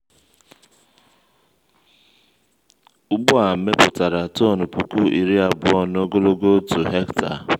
ugbo a mepụtara tọn puku iri abụọ n’ogologo otu hekta.